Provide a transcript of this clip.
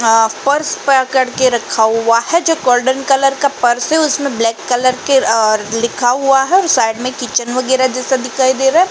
Purse पकड़कर रखा हुआ है। जो गोल्डन कलर का पर्स है उसमें ब्लैक कलर का लिखा हुआ है। साइड में किचन वगैरा जैसा दिखाई दे रहा है।